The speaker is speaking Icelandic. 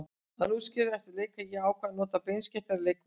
Ég útskýrði eftir leik að ég ákvað að nota beinskeyttari leikmenn.